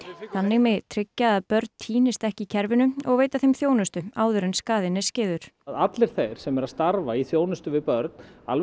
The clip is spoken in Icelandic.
þannig megi tryggja að börn týnist ekki í kerfinu og veita þeim þjónustu áður en skaðinn er skeður allir þeir sem eru að starfa við þjónustu við börn alveg